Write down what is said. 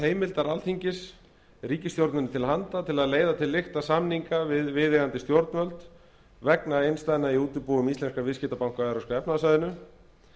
heimildar alþingis ríkisstjórninni til handa til að leiða til lykta samninga við viðeigandi stjórnvöld vegna innstæðna í útibúum íslenskra viðskiptabanka á evrópska efnahagssvæðinu